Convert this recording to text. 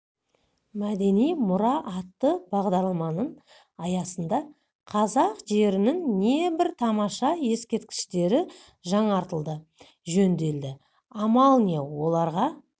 мәдени мұра атты бағдарламаның аясында қазақ жерінің не бір тамаша ескерткіштері жаңартылды жөнделді амал не оларға